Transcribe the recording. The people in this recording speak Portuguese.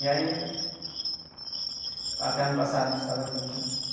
E aí... Até ano passado, a gente tava junto, né?